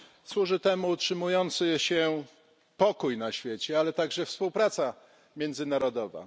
Służy temu utrzymujący się pokój na świecie, ale także współpraca międzynarodowa.